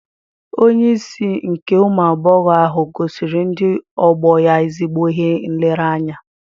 Onye isi nke ụmụ agbọghọ ahụ gosiri ndị ọgbọ ya ezigbo ihe nlereanya